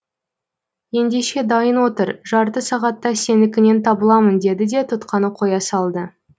ендеше дайын отыр жарты сағатта сенікінен табыламын деді де тұтқаны қоя салды